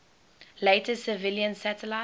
later civilian satellites